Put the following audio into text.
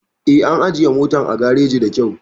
Eh, an ajiye motar a gareji da kyau